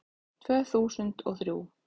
Tvö þúsund og þrjú